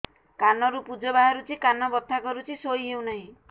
କାନ ରୁ ପୂଜ ବାହାରୁଛି କାନ ବଥା କରୁଛି ଶୋଇ ହେଉନାହିଁ